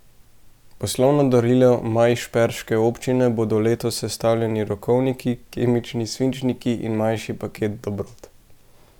Poslovno darilo majšperške občine bodo letos sestavljali rokovnik, kemični svinčnik in manjši paket dobrot.